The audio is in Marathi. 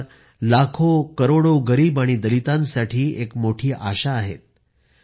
ते विचार लाखोकरोडो गरीब आणि दलितांसाठी एक मोठी आशा आहेत